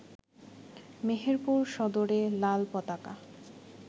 মেহেরপুর সদরে লাল পতাকা